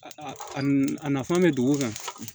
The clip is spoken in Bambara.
Nafan bɛ dugu kan